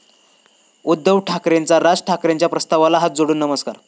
उद्धव ठाकरेंचा राज ठाकरेंच्या प्रस्तावाला हात जोडून नमस्कार!